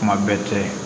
Kuma bɛɛ tɛ